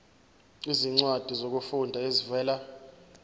izincwadi zokufunda ezivela